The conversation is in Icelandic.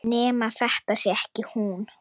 Nema þetta sé ekki hún.